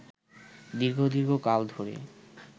দীর্ঘ দীর্ঘ কাল ধরে